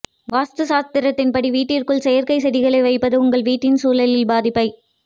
வாஸ்து சாஸ்திரத்தின் படி வீட்டிற்குள் செயற்கை செடிகளை வைப்பது உங்கள் வீட்டின் சூழலில் பாதிப்பை